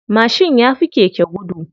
Mashin yafi keke gudu.